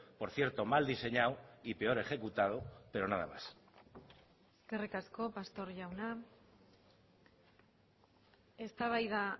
por cierto mal diseñado y peor ejecutado pero nada más eskerrik asko pastor jauna eztabaida